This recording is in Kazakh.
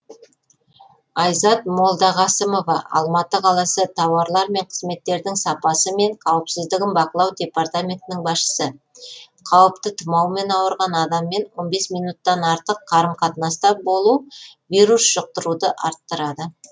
айзат молдағасымова алматы қаласы тауарлар мен қызметтердің сапасы мен қауіпсіздігін бақылау департаментінің басшысы қауіпті тұмаумен ауырған адаммен он бес минуттық артық қарым қатынаста болу вирус жұқтыруды арттырады